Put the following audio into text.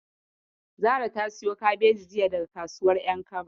Zara ta siyo kabeji jiya daga kasuwar ƴankaba.